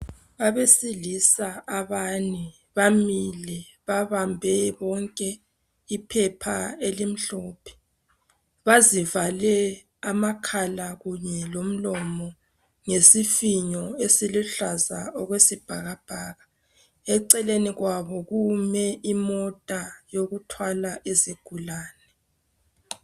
Abesilisa abane bamile babambe bonke iphepha elimhlophe. Bazivale amakhala kanye lomlomo ngesifinyo esiluhlaza okwesibhakabhaka. Eceleni kwabo kume imota yokuthwala izigulane.